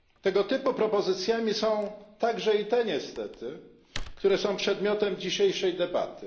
Tego typu propozycjami są niestety i te, które są przedmiotem dzisiejszej debaty.